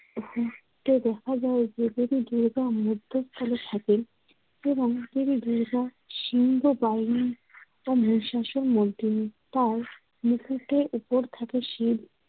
তো দেখা যায় যে, দেবী দুর্গা মধ্যস্থানে থাকেন এবং দেবী দুর্গা সিংহ বাহিনী ও মহিষাশুর তার মুখেতে উপর থাকে শিব,